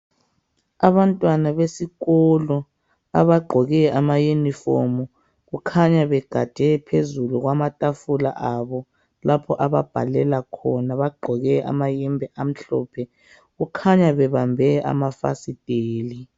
Abantwana besikolo abagqoke ama yinifomu , kukhanya begade phezulu kwamatafula abo lapho ababhalela khona. Bagqoke amayembe amhlophe. Kukhanya bebambe amafasiteli.